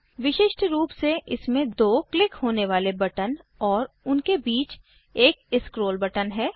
विशिष्ट रूप से इसमें दो क्लिक होने वाले बटन और उनके बीच में एक स्क्रोल बटन है